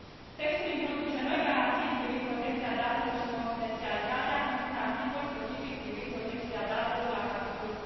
Textul introduce noi garanții privind protecția datelor și confidențialitatea, într un articol specific privind protecția datelor la capitolul